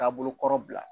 Taabolo kɔrɔ bila